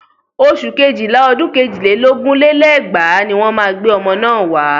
Oṣù kéjìlá ọdún èjì lé lógún lé lẹ́gbàá ni wọ́n máa gbé ọmọ náà wá.